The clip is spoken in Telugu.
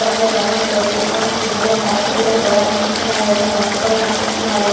చిత్రం లో గమనించవచ్చు ఇంకా మనకి ఇందులో కరెంటు తీగలు కూడ కన్పిస్తున్నాయిఒక్క మనిషి కూడా కనిపిస్తున్నాడు.